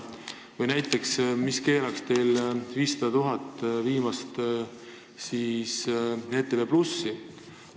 Või mis keelaks teil näiteks ETV+-ile 500 000 eurot andmast?